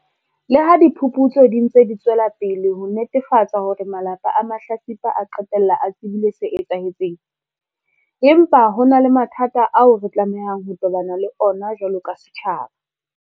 Leha diphuputso di ntse di tswela pele ho netefatsa hore malapa a mahlatsipa a qetella a tsebile se etsahetseng, empa ho na le mathata ao re tlamehang ho tobana le ona jwalo ka setjhaba.